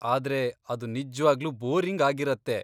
ಆದ್ರೆ ಅದು ನಿಜ್ವಾಗ್ಲೂ ಬೋರಿಂಗ್ ಆಗಿರತ್ತೆ.